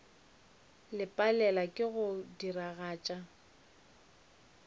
le palelwa ke go diragatša